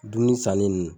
Dumuni sanni nn